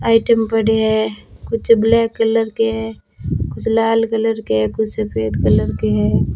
Item बड़ी है कुछ ब्लैक कलर के है कुछ लाल कलर के कुछ सफेद कलर के हैं।